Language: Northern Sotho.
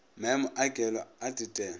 maemo a kelo a tetelo